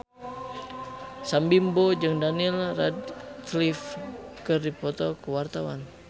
Sam Bimbo jeung Daniel Radcliffe keur dipoto ku wartawan